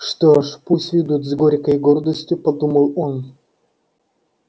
что ж пусть ведут с горькой гордостью подумал он